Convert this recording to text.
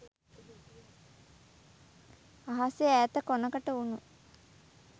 අහසෙ ඈත කොණකට වුණු